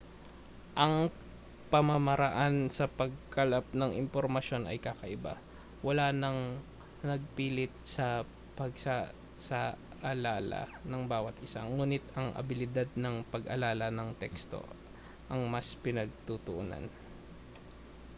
ang pamamaraan sa pagkalap ng impormasyon ay kakaiba wala nang pagpilit sa pagsasaalala ng bawat isa ngunit ang abilidad sa pag-alala ng teksto ang mas pinagtuunan